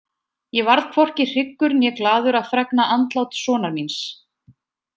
Ég varð hvorki hryggur né glaður að fregna andlát sonar míns.